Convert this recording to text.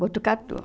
Botucatu.